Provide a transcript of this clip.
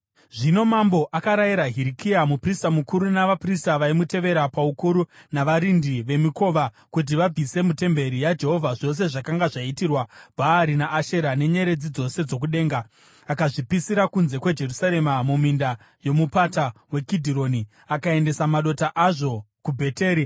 Zvino mambo akarayira Hirikia muprista mukuru, navaprista vaimutevera paukuru navarindi vemikova kuti vabvise mutemberi yaJehovha zvose zvakanga zvaitirwa Bhaari naAshera nenyeredzi dzose dzokudenga. Akazvipisira kunze kweJerusarema muminda yoMupata weKidhironi, akaendesa madota azvo kuBheteri.